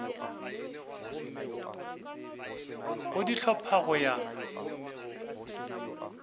go di hlopha go ya